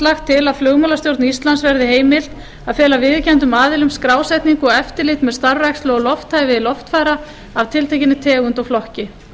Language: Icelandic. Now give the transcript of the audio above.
lagt til að flugmálastjórn íslands verði heimilt að fela viðurkenndum aðilum skrásetningu og eftirlit með starfrækslu og lofthæfi loftfara af tiltekinni tegund og flokki